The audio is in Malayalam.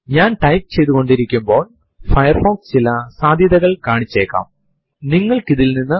ഇത് അത്ര സാധാരണം അല്ലെങ്കിലും ഏതു വർഷത്തിന്റെയും ഏതു മാസത്തിന്റെയും കലണ്ടർ കാണാൻ നിങ്ങളെ സഹായിക്കുന്നു